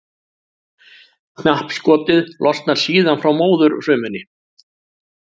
Knappskotið losnar síðan frá móðurfrumunni.